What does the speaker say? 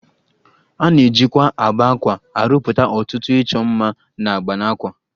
A na-ejikwa agba àkwá arụpụta ọtụtụ ịchọ mma na agba n'àkwá